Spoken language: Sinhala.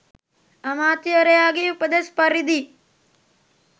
අමාත්‍යවරයාගේ උපදෙස් පරිදි